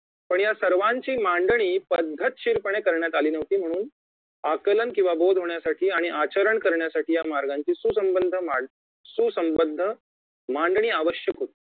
पण या सर्वांची मांडणी पद्धतशीरपणे करण्यात आली नव्हती म्हणून आकलन किंवा बोध होण्यासाठी आणि आचरण करण्यासाठी या मार्गांची सुसंमंध मां सुसंबंध मांडणी आवश्यक होती